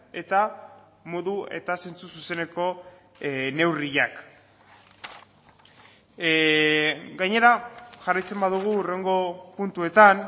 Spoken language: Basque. eta modu eta zentzu zuzeneko neurriak gainera jarraitzen badugu hurrengo puntuetan